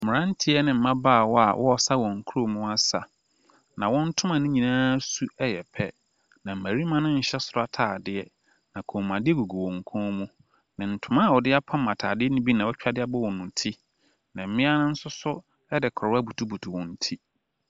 Mmeranteɛ ne mmabaawa a wɔresa wɔn kurom asa, na wɔn ntoma no nyinaa ssu yɛ pɛ, na mmarima no nhyɛ soro atadeɛ, na kɔmmuade gugu wɔn kɔn mu, na ntoma a wɔde apam atade no bi na wɔatwa de abɔ wɔn ti, na mmea nso so de koraa abutubutu wɔn ti.